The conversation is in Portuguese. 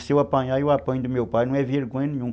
Se eu apanhar, eu apanho do meu pai, não é vergonha nenhuma.